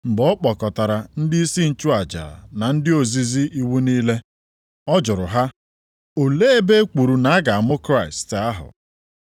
Mgbe ọ kpọkọtara ndịisi nchụaja na ndị ozizi iwu niile, ọ jụrụ ha, olee ebe e kwuru na a ga-amụ Kraịst + 2:4 Maọbụ, Onye nzọpụta ahụ.